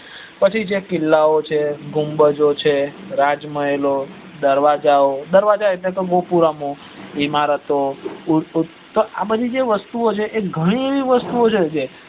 પછી જકે કિલ્લા ઓ છે ગુમ્મ્જો છે રાજ મહેલ દરવાજો ઓ દરવાજા એટલે તો ગોકુરમો ઈમારતો આ બધી વસ્તુ ઓ જે ગણી એવી વસ્તુ ઓ છે